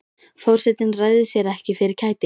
Forsetinn ræður sér ekki fyrir kæti.